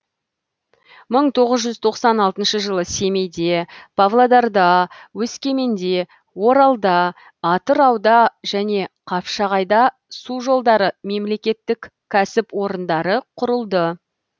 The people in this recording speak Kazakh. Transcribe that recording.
мың тоғыз жүз тоқсан алтыншы жылы семейде павлодарда өскеменде оралда атырауда және қапшағайда су жолдары мемлекеттік кәсіпорындары құрылды